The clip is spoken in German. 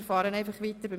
– Wir versuchen es.